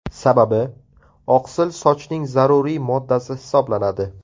Sababi, oqsil sochning zaruriy moddasi hisoblanadi.